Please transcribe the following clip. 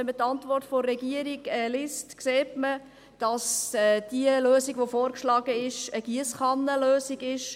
Wenn man die Antwort der Regierung liest, sieht man, dass die vorgeschlagene Lösung eine Giesskannen-Lösung ist.